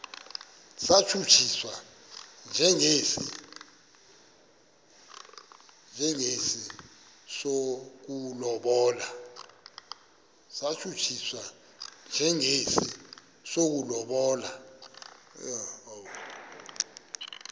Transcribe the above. satshutshiswa njengesi sokulobola